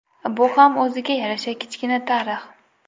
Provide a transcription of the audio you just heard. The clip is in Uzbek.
Bu ham o‘ziga yarasha kichkina tarix.